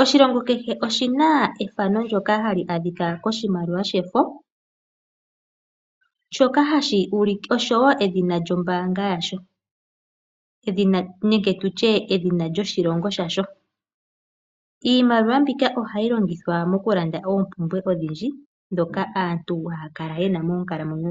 Oshilongo kehe oshi na ethano ndoka hali adhika koshimaliwa shefo oshowo edhina lyombaanga yasho nenge tutye edhina lyoshilongo shasho. Iimaliwa mbika ohayi longithwa mokulanda oompumbwe odhindji ndhoka aantu haya kala ye na moonkalamwenyo dhawo.